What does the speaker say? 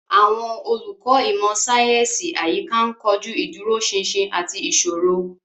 Àwọn olùkọ́ ìmọ̀ sáyẹ́sì àyíká ń kojú ìdúróṣinṣin àti ìṣòro.